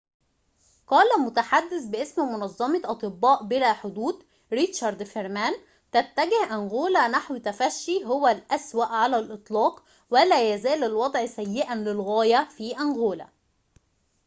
قال المتحدث باسم منظمة أطباء بلا حدود ريتشارد فيرمان تتجه أنغولا نحو تفشي هو الأسوأ على الإطلاق ولا يزال الوضع سيئاً للغاية في أنغولا